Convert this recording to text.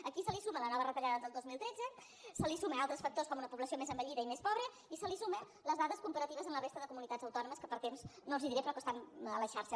aquí se li suma la nova retallada del dos mil tretze se li sumen altres factors com una població més envellida i més pobra i se li sumen les dades comparatives amb la resta de comunitats autònomes que per temps no els diré però que estan a la xarxa